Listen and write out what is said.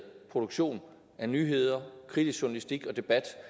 produktion af nyheder kritisk journalistik og debat